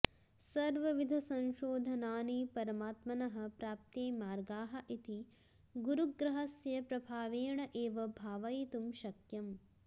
सर्वविधसंशोधनानि परमात्मनः प्राप्त्यै मार्गाः इति गुरुग्रहस्य प्रभावेण एव भावयितुं शक्यम्